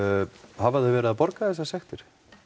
hafa þau verið að borga þessar sektir